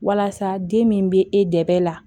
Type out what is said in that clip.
Walasa den min bɛ e dɛmɛ la